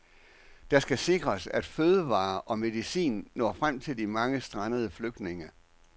Der skal sikres, at fødevarer og medicin når frem til de mange strandede flygtninge.